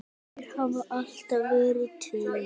Þeir hafa alltaf verið tveir.